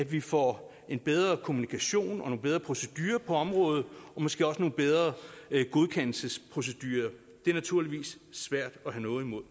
vi får bedre kommunikation og bedre procedurer på området og måske også nogle bedre godkendelsesprocedurer det er naturligvis svært at have noget imod